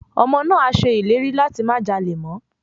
Ọmọ náà á ṣe ìlérí láti má jalè mọ́.